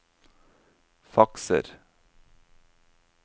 fakser